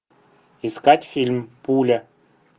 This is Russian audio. искать фильм пуля